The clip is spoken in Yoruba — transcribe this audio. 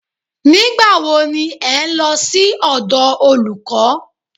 Nígbà wo ni ẹ̀ ń lọ sí ọ̀dọ̀ olùkọ́?